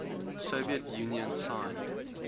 soviet union signed